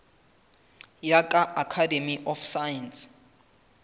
ya ka academy of science